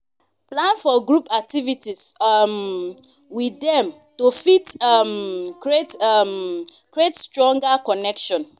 plan for group activities um with dem to fit um create um create stronger connection